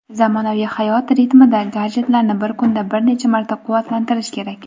zamonaviy hayot ritmida gadjetlarni bir kunda bir necha marta quvvatlantirish kerak.